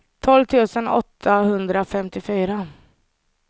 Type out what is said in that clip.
tolv tusen åttahundrafemtiofyra